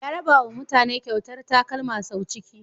Ya rabawa mutane kyautar takalma sau ciki.